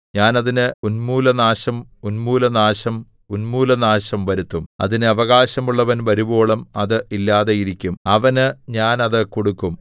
ഞാൻ അതിന് ഉന്മൂലനാശം ഉന്മൂലനാശം ഉന്മൂലനാശം വരുത്തും അതിന് അവകാശമുള്ളവൻ വരുവോളം അത് ഇല്ലാതെയിരിക്കും അവന് ഞാൻ അത് കൊടുക്കും